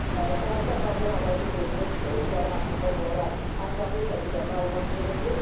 Şəhərdə aparılan abadlıq-quruculuq işləri haqqında onlara ətraflı şəkildə məlumat verildi.